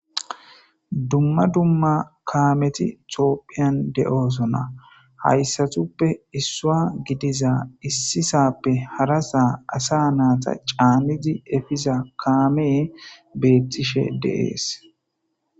dumma dumma kaameti topphiyan de7oosona hayssatuppe issua gidiza issisappe harasaa asa naata caanizi efiza kaamee beettishe deees